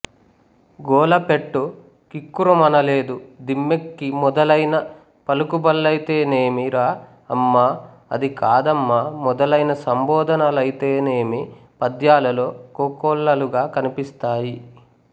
గోల పెట్టు కిక్కురుమనలేదు దిమ్మెక్కి మొదలైన పలుకుబళ్ళైతేనేమి రా అమ్మా అది కాదమ్మా మొదలైన సంబోధనలైతేనేమి పద్యాలలో కోకొల్లలుగా కనిపిస్తాయి